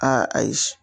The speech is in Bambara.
Aa ayi